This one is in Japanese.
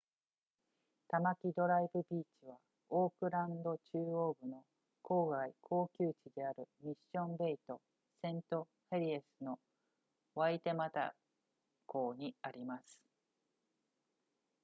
タマキドライブビーチはオークランド中央部の郊外高級地であるミッションベイとセントヘリエスのワイテマタ港にあります